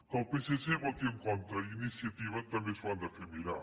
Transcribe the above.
que el psc hi voti en contra i iniciativa també s’ho han de fer mirar